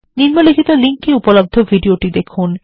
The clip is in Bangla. নিম্নলিখিত লিঙ্ক এ উপলব্ধ ভিডিওটি দেখুন